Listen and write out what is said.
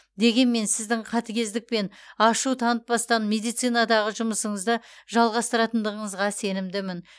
дегенмен сіздің қатігездік пен ашу танытпастан медицинадағы жұмысыңызды жалғастыратындығыңызға сенімдімін